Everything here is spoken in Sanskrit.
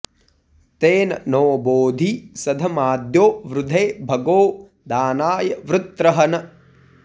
तेन॑ नो बोधि सध॒माद्यो॑ वृ॒धे भगो॑ दा॒नाय॑ वृत्रहन्